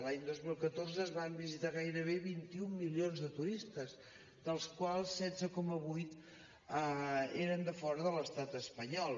l’any dos mil catorze ens van visitar gairebé vint un milions de turistes dels quals setze coma vuit eren de fora de l’estat espanyol